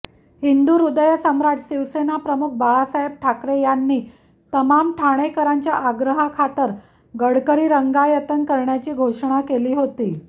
हिंदुहृदयसम्राट शिवसेनाप्रमुख बाळासाहेब ठाकरे यांनी तमाम ठाणेकरांच्या आग्रहाखातर गडकरी रंगायतन करण्याची घोषणा केली होती